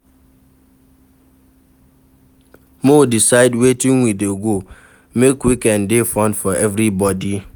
Make we decide wetin we go do, make weekend dey fun for everybodi